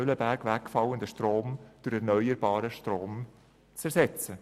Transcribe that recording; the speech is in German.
Mühleberg wegfallenden Produktion durch erneuerbaren Strom zu ersetzen.